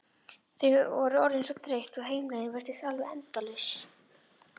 Þau voru orðin svo þreytt og heimleiðin virtist alveg endalaus.